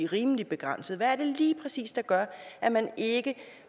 rimelig begrænsede hvad er det lige præcis der gør at man ikke